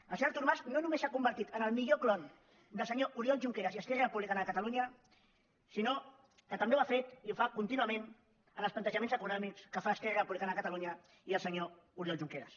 el senyor artur mas no només s’ha convertit en el millor clon del senyor oriol junqueras i esquerra republicana de catalunya sinó que també ho ha fet i ho fa contínuament amb els plantejaments econòmics que fan esquerra republicana de catalunya i el senyor oriol junqueras